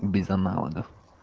без аналогов